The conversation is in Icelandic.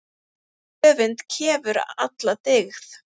Öfund kefur alla dyggð.